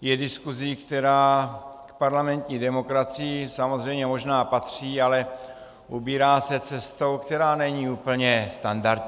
je diskusí, která k parlamentní demokracii samozřejmě možná patří, ale ubírá se cestou, která není úplně standardní.